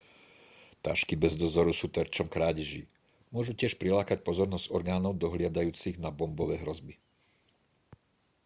tašky bez dozoru sú terčom krádeží môžu tiež prilákať pozornosť orgánov dohliadajúcich na bombové hrozby